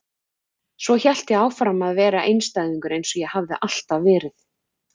Svo hélt ég áfram að vera einstæðingur eins og ég hafði alltaf verið.